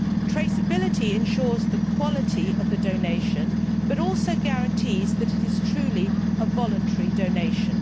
Traceability ensures the quality of the donation, but also guarantees that it is truly a voluntary donation.